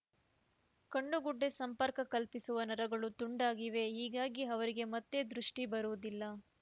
ಕಣ್ಣು ಗುಡ್ಡೆ ಸಂಪರ್ಕ ಕಲ್ಪಿಸುವ ನರಗಳು ತುಂಡಾಗಿವೆ ಹೀಗಾಗಿ ಅವರಿಗೆ ಮತ್ತೆ ದೃಷ್ಟಿಬರುವುದಿಲ್ಲ